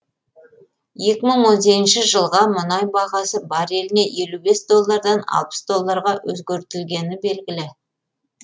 екі мың он сегізінші жылға мұнай бағасы барреліне елу бес доллардан алпфс долларға өзгертілгені белгілі